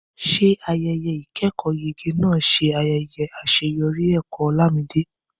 Ṣé ayẹyẹ ìkẹ́kọ̀ọ́yege náà ṣe ayẹyẹ àṣeyọrí ẹ̀kọ́ Olamide?